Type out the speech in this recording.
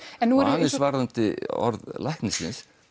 aðeins varðandi orð læknisins